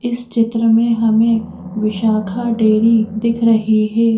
इस चित्र में हमें विशाखा डेरी दिख रही है।